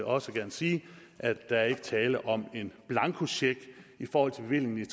også gerne sige at der ikke er tale om en blankocheck i forhold til bevillingen